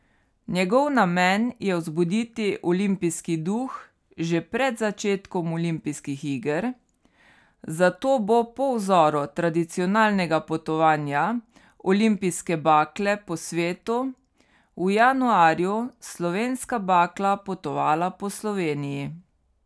Njegov namen je vzbuditi olimpijski duh že pred začetkom olimpijskih iger, zato bo po vzoru tradicionalnega potovanja olimpijske bakle po svetu v januarju Slovenska bakla potovala po Sloveniji.